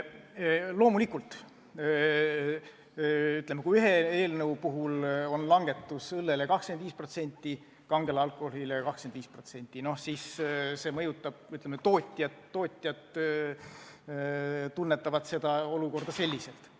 Loomulikult, kui ühe eelnõu puhul nähakse ette õlleaktsiisi langetus 25% ja ka kangel alkoholil 25%, siis tootjad tunnetavad olukorda ühtmoodi.